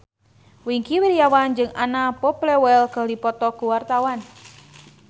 Wingky Wiryawan jeung Anna Popplewell keur dipoto ku wartawan